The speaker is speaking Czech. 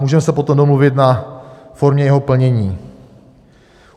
Můžeme se potom domluvit na formě jeho plnění.